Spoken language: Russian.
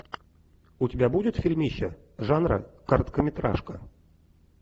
у тебя будет фильмище жанра короткометражка